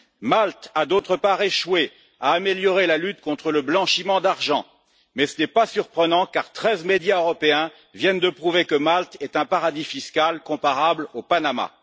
Malte a, d'autre part, échoué à améliorer la lutte contre le blanchiment d'argent, mais ce n'est pas surprenant, car treize médias européens viennent de prouver que Malte est un paradis fiscal comparable au Panama.